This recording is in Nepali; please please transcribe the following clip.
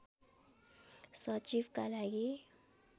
सचिवका लागि